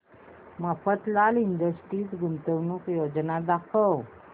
Mafatlal industries गुंतवणूक योजना दाखव